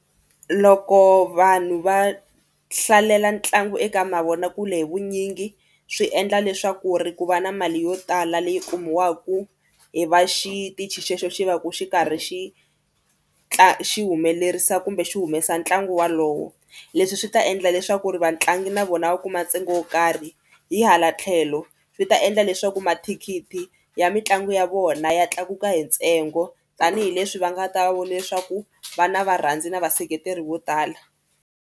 Loko vanhu va hlalela ntlangu eka mavonakule hi vunyingi swi endla leswaku ri ku va na mali yo tala leyi kumiwaka hi va xitichi xexo xi va ku xi karhi xi xi humelerisa kumbe xi humesa ntlangu walowo. Leswi swi ta endla leswaku ri vatlangi na vona va kuma ntsengo wo karhi hi hala tlhelo swi ta endla leswaku mathikithi ya mitlangu ya vona ya tlakuka hi ntsengo tanihileswi va nga ta va vo leswaku va na varhandzi ni vaseketeri vo tala.